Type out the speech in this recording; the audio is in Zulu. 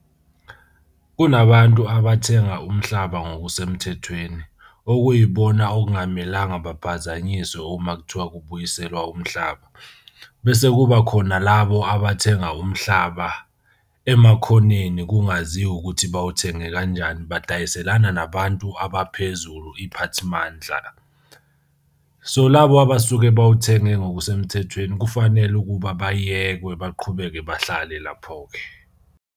Kunabantu abathenga umhlaba ngokusemthethweni okuyibona okungamelanga baphazanyiswe uma kuthiwa kubuyiselwa umhlaba. Bese kuba khona labo abathenga umhlaba emakhoneni kungaziwa ukuthi bawuthenge kanjani. Badayiselana nabantu abaphezulu iy'phathimandla. So labo abasuke bawuthenge ngokusemthethweni kufanele ukuba bayekwe baqhubeke bahlale lapho-ke.